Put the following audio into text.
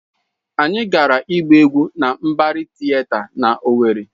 Anyị gara ịgba egwu na Mbari Tịeta na Owerri.